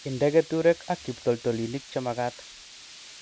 Inde keturek ak kiptoltolinik che magat